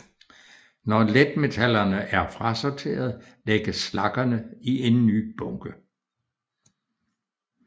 Når letmetallerne er frasorteret lægges slaggerne i en ny bunke